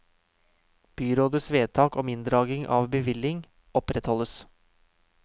Byrådets vedtak om inndragning av bevilling opprettholdes.